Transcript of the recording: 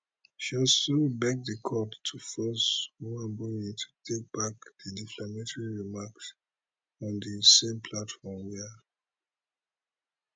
she also beg di court to force nwaebonyi to take back di defamatory remarks on di same platform wia